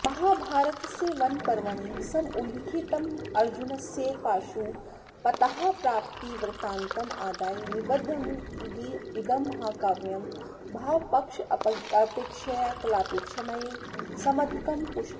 महाभारतस्य वनपर्वणि समुल्लिखतमर्जुनस्य पाशुपतास्त्रप्राप्तिवृत्तान्तमादाय निबद्धमिदं महाकाव्यं भावपक्षापेक्षया कलापेक्षमेव समधिकं पुष्णाति